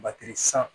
Matɛrisan